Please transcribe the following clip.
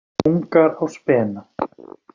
Ungar á spena.